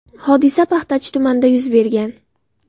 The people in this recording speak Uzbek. Hodisa Paxtachi tumanida yuz bergan.